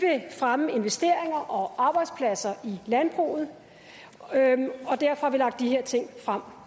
fremme investeringer og arbejdspladser i landbruget og derfor har vi lagt de her ting frem